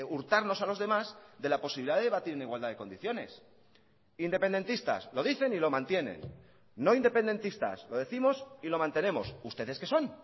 hurtarnos a los demás de la posibilidad de debatir en igualdad de condiciones independentistas lo dicen y lo mantienen no independentistas lo décimos y lo mantenemos ustedes que son